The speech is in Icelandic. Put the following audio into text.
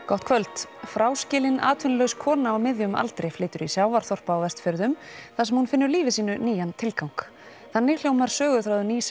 gott kvöld fráskilin atvinnulaus kona á miðjum aldri flytur í sjávarþorp á Vestfjörðum þar sem hún finnur lífi sínu nýjan tilgang þannig hljómar söguþráður nýs